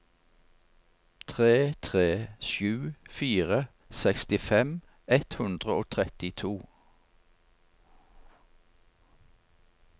tre tre sju fire sekstifem ett hundre og trettito